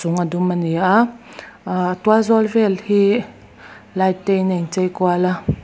a dum ani a a tial zawl vel hi light te in a in chei kual a.